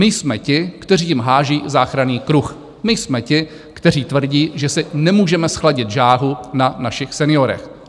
My jsme ti, kteří jim hází záchranný kruh, my jsme ti, kteří tvrdí, že si nemůžeme zchladit žáhu na našich seniorech.